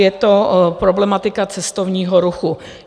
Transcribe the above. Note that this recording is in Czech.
Je to problematika cestovního ruchu.